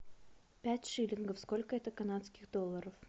пять шиллингов сколько это канадских долларов